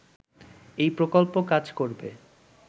এই প্রকল্প কাজ করবে